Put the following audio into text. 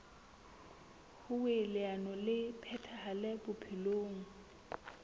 hoer leano le phethahale bophelong